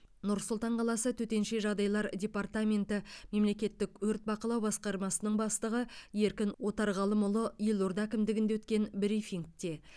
нұр сұлтан қаласы төтенше жағдайлар департаменті мемлекеттік өрт бақылау басқармасының бастығы еркін отарғалымұлы елорда әкімдігінде өткен брифингте